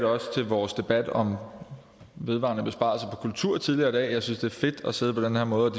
også ved vores debat om vedvarende besparelser på kultur tidligere i dag at synes det er fedt at sidde på den her måde